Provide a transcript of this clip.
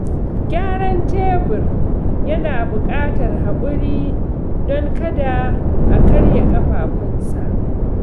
Gyaran tebur yana buƙatar hakuri don kada a karya ƙafafunsa.